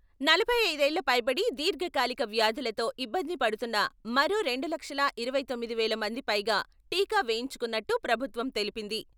నలభై ఐదు ఏళ్లపైబడి, దీర్ఘకాలిక వ్యాధులతో ఇబ్బంది పడుతున్న మరో రెండు లక్షల ఇరవై తొమ్మిది వేల మంది పైగా టీకా వేయించుకున్నట్టు ప్రభుత్వం తెలిపింది.